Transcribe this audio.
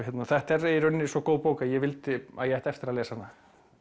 þetta er í rauninni svo góð bók að ég vildi að ég ætti eftir að lesa hana